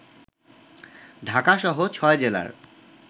ঢাকাসহ ৬ জেলার